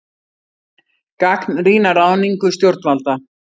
Gagnrýna ráðningu stjórnvalda